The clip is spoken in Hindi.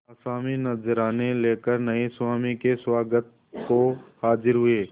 आसामी नजराने लेकर नये स्वामी के स्वागत को हाजिर हुए